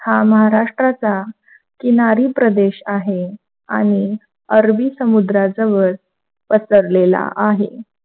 हा महाराष्ट्राचा किनारी प्रदेश आहे, आणि अरबी समुद्रा जवळ पसरलेला आहे.